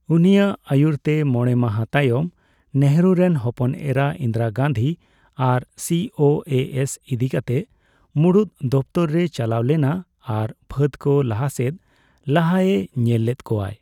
ᱩᱱᱤᱭᱟᱜ ᱟᱹᱭᱩᱨᱛᱮ ᱢᱚᱬᱮ ᱢᱟᱦᱟ ᱛᱟᱭᱚᱢ, ᱱᱮᱦᱨᱩ ᱨᱮᱱ ᱦᱚᱯᱚᱱ ᱮᱨᱟ ᱤᱱᱫᱤᱨᱟ ᱜᱟᱱᱫᱷᱤ ᱟᱨ ᱥᱤᱹᱳᱹᱮᱹ ᱮᱥᱹ ᱤᱫᱤᱠᱟᱛᱮ ᱢᱩᱬᱩᱫ ᱫᱚᱯᱛᱚᱨ ᱨᱮᱭ ᱪᱟᱞᱟᱣ ᱞᱮᱱᱟ ᱟᱨ ᱯᱷᱟᱹᱫ ᱠᱚ ᱞᱟᱦᱟ ᱥᱮᱫ ᱞᱟᱦᱟᱜᱼᱮ ᱧᱮᱞ ᱞᱮᱫ ᱠᱚᱣᱟᱭ ᱾